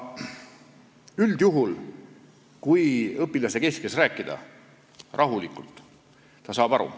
Üldjuhul, kui õpilasega rahulikult rääkida, siis ta saab aru.